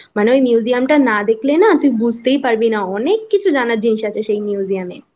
মানে ওই Museum টা না দেখলে না তুই বুঝতেই পারবি না অনেককিছু জানার জিনিস আছে সেই Museum এ